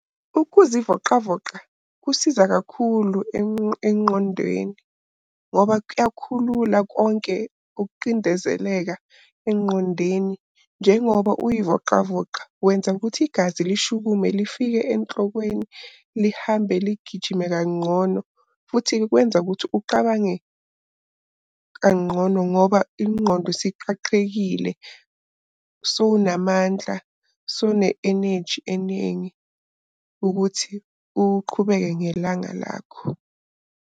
Ukuzivoqavoqa kusiza kakhulu engqondweni ngoba kuyakhulula konke ukuqindezeleka engqondweni. Njengoba uyivoqavoqa wenza ukuthi igazi lishukume lifike enhlokweni. Lihambe ligijime kanqono futhi likwenza ukuthi uqabange kanqono ngoba ingqondo isiqaqekile. Sowunamandla, sowune-eneji enengi ukuthi uqhubeke ngelanga lakho.